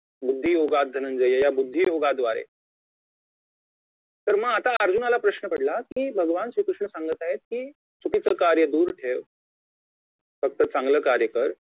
बुद्धियोगा धनंजय या बुद्धियोगाद्वारे तर मग आता अर्जुनाला प्रश्न पडला कि भगवान श्री कृष्ण सांगत आहेत की चुकीचे कार्य दूर ठेव फक्त चांगले कार्य कर